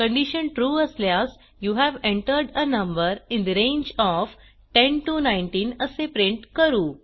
condition true असल्यास you have entered a number in the range of 10 19 असे print करू